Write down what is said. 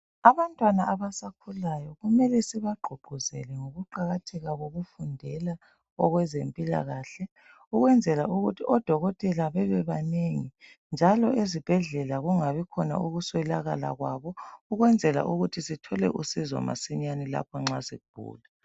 Abantwana abasakhulayo kumele sibagqugquzele ngokuqakatheka kokufundela okwezempilakahle ukwenzela ukuthi odokotela bebebanengi njalo ezibhedlela kungabikhona ukuswelakala kwabo ukwenzela ukuthi sithole usizo masinyane nxa sigula